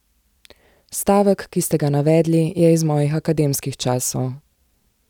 Stavek, ki ste ga navedli, je iz mojih akademskih časov.